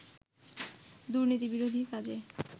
দুর্নীতিবিরোধী কাজে